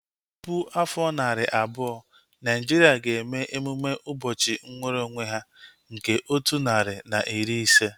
Tupu afọ narị abụọ, Naijiria ga-eme emume ụbọchị nwere onwe ya nke otu narị na iri ise